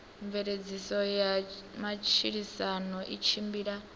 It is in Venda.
mveledziso ya matshilisano i tshimbila